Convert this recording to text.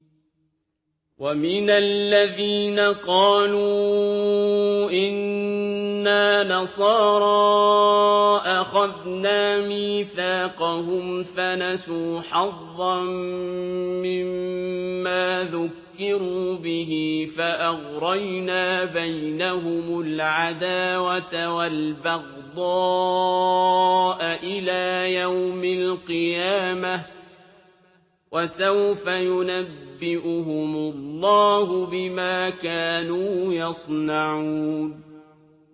وَمِنَ الَّذِينَ قَالُوا إِنَّا نَصَارَىٰ أَخَذْنَا مِيثَاقَهُمْ فَنَسُوا حَظًّا مِّمَّا ذُكِّرُوا بِهِ فَأَغْرَيْنَا بَيْنَهُمُ الْعَدَاوَةَ وَالْبَغْضَاءَ إِلَىٰ يَوْمِ الْقِيَامَةِ ۚ وَسَوْفَ يُنَبِّئُهُمُ اللَّهُ بِمَا كَانُوا يَصْنَعُونَ